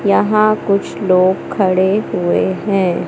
यहां कुछ लोग खड़े हुए हैं।